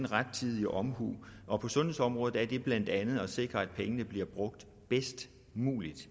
rettidig omhu og på sundhedsområdet er det blandt andet at sikre at pengene bliver brugt bedst muligt